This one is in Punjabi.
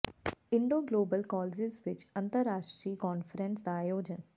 ਇੰਡੋ ਗਲੋਬਲ ਕਾਲਜ਼ਿਜ ਵਿਚ ਅੰਤਰ ਰਾਸ਼ਟਰੀ ਕਾਨਫ਼ਰੰਸ ਦਾ ਆਯੋਜਨ